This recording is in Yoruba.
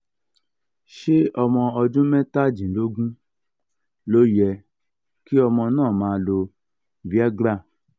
ṣé ọmọ ọdún mẹ́tàdínlógún ló yẹ kí ọmọ náà máa lo viagra?